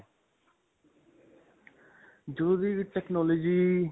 ਜਦੋਂ ਦੀ technology